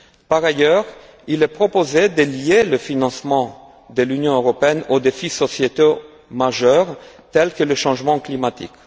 Par ailleurs, il est proposé de lier le financement de l'Union européenne aux défis sociétaux majeurs tels que le changement climatique.